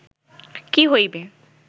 কি হইবে